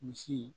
Misi